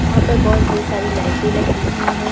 यहां पर बहुत ढेर सारी लाइटें लगी हुई हैं।